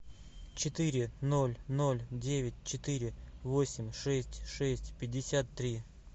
четыре ноль ноль девять четыре восемь шесть шесть пятьдесят три